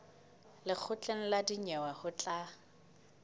lekgotleng la dinyewe ho tla